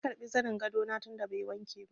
Na karbi zanin gado na tun da bai wanke ba.